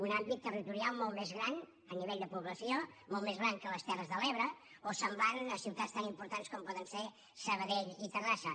un àmbit territorial molt més gran a nivell de població molt més gran que les terres de l’ebre o semblant a ciutats tan importants com poden ser sabadell i terrassa